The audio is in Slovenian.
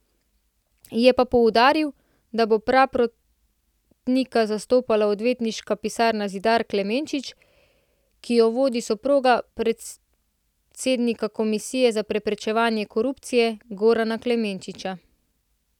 Je pa poudaril, da bo Praprotnika zastopala odvetniška pisarna Zidar Klemenčič, ki jo vodi soproga predsednika Komisije za preprečevanje korupcije Gorana Klemenčiča.